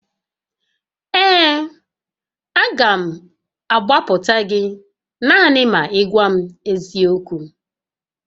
Ee, a ga m agbapụta gị naanị ma ị gwa m eziokwu